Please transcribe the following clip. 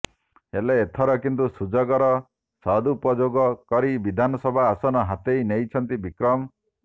ହେଲେ ଏଥର କିନ୍ତୁ ସୁଯୋଗର ସଦୁପୋଯୋଗ କରି ବିଧାନସଭା ଆସନ ହାତେଇ ନେଇଛନ୍ତି ବିକ୍ରମ